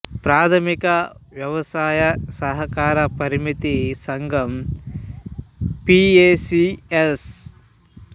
ప్రాధమిక వ్యవసాయ సహకార పరపతి సంఘం పి ఏ సి ఎస్